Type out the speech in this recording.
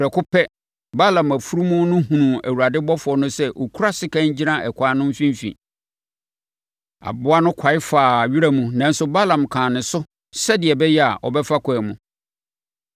prɛko pɛ, Balaam afunumu no hunuu Awurade ɔbɔfoɔ no sɛ ɔkura sekan gyina ɛkwan no mfimfini. Aboa no kwae faa wiram nanso Balaam kaa ne so sɛdeɛ ɛbɛyɛ a, ɔbɛfa ɛkwan mu.